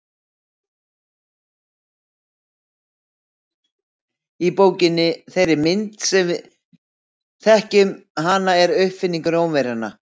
Bókin í þeirri mynd sem við þekkjum hana er uppfinning Rómverjanna.